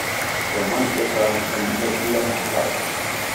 Soman chechang' en medlineplus